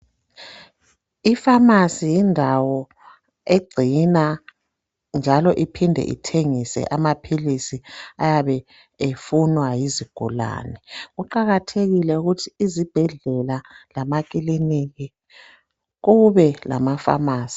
Ifamasi yindawo egcina njalo iphinde ithengise amaphilisi ayabe efunwa yizigulane kuqakathekile ukuthi izibhedlela lamakiliniki kube lamafamasi.